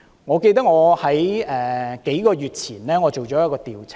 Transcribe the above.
我記得在數個月前做了一項調查。